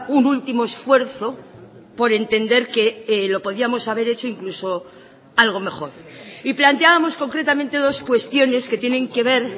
un último esfuerzo por entender que lo podíamos haber hecho incluso algo mejor y planteábamos concretamente dos cuestiones que tienen que ver